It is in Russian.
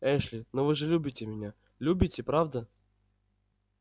эшли но вы же любите меня любите правда